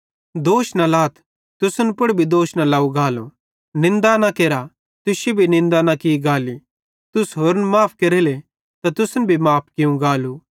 दोष न लाथ तुसन पुड़ भी दोष न लाव गालो निन्दा न केरा तुश्शी भी निन्दा न की गाली तुस होरन माफ़ केरेले त तुसन भी माफ़ भोलू